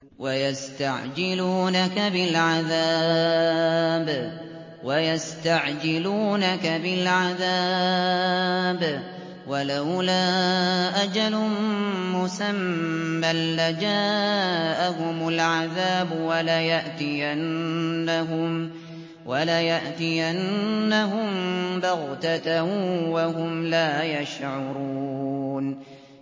وَيَسْتَعْجِلُونَكَ بِالْعَذَابِ ۚ وَلَوْلَا أَجَلٌ مُّسَمًّى لَّجَاءَهُمُ الْعَذَابُ وَلَيَأْتِيَنَّهُم بَغْتَةً وَهُمْ لَا يَشْعُرُونَ